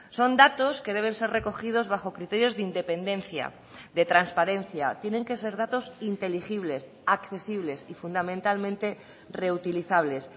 son datos que deben ser recogidos bajo criterios de independencia de transparencia tienen que ser datos inteligibles accesibles y fundamentalmente reutilizables